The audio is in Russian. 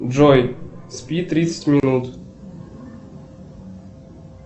джой спи тридцать минут